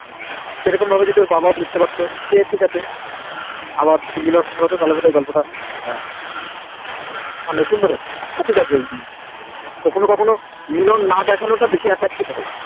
সেরকম ভাবে যদি ওর বাবাও বুজতে অর্থ যে ঠিকাছে আবার ওদের মিলন হতো তাহলে বোধাই গল্প তা আহ সুন্দর বেবি কখনো কখনো মিং না দেখানো তা Attractive হয়ে